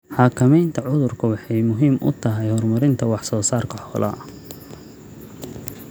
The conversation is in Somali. Xakamaynta cudurku waxay muhiim u tahay horumarinta wax soo saarka xoolaha.